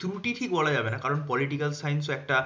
ত্রুটি ঠিক বলা যাবে না কারণ political science একটা